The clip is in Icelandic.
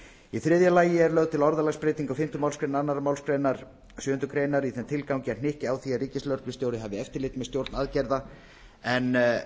í þriðja lagi er lögð til orðalagsbreyting á fimmta málsl annarri málsgrein sjöundu greinar í þeim tilgangi að hnykkja á því að ríkislögreglustjóri hafi eftirlit með stjórn aðgerða en